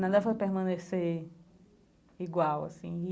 Não devem permanecer igual assim.